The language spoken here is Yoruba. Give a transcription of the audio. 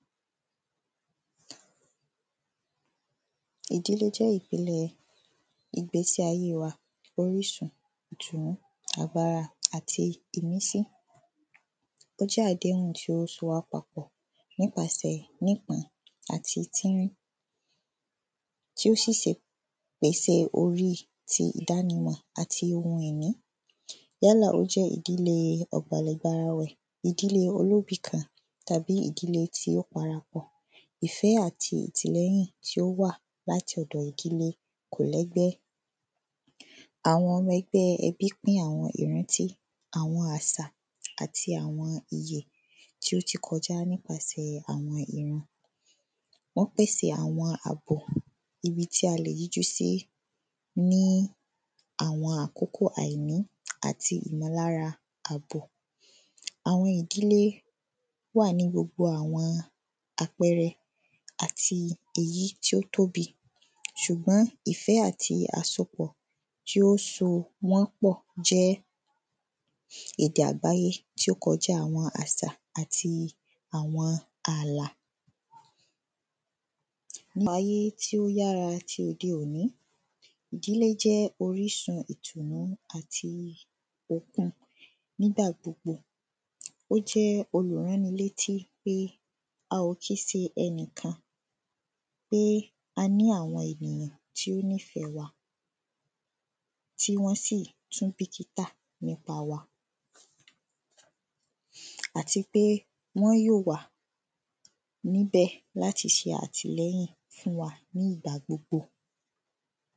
ìdílé jẹ́ ìpele ìgbésíayé wa, orísun, ìtùnú, agbára àti ìmísí. Ó jẹ́ àdéhùn tí ó so wá papọ̀ nípasẹ̀ nípọn àti tírín tí ó ṣẹ̀ṣẹ̀ pèse orí ti ìdánimọ̀ àti ohun ìní yálà ó jẹ́ ìdílé ọ̀bàlẹ̀barawẹ̀, ìdílé olóbìkan tàbí ìdílé tí ó parapọ̀. Ìfẹ́ àti ìtìlẹ́yìn tí ó wà láti ọ̀dọ ìdílé kò lẹ́gbẹ́. Àwọn ọmọ ẹgbẹ́ ẹbí pín àwọn ìrántí, àwọn àsà àti àwọn iye tí ó ti kọjá nípasẹ̀ àwọn ìran. Wọ́n pèsè àwọn àbò àti ibi tí a lè yíjú sí ní àwọn àkókó àìní àti ìmọ̀lára àbò àwọn ìdílé wà ní gbogbo àwọn àpẹrẹ àti èyí tí ó tóbi ṣùgbọ́n ìfẹ́ àti àsopọ̀ tí ó so wọ́n pọ̀ jẹ́ èdè àgbáyé tí ó kọjá àwọn àsà àti àwọn ààlà pa ayé tí ó yará tí òde-òní, Ìdílé jẹ́ orísun ìtùnú àti okun nígbà gbogbo. Ó jẹ́ olùránilétí pé a ò kí n se ẹnìkan, pé a ní àwọn ènìyàn tí ó nífẹ̀ẹ́ wa tíwọ́n sì tún bìkítà nípa wa àti pé wọ́n yóò wà níbẹ̀ láti ṣe àtìlẹ́yìn fún wa ní ìgbà gbogbo